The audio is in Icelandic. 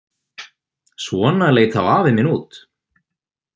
Svona leit þá afi minn út.